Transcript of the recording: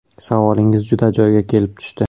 Savolingiz juda joyiga kelib tushdi.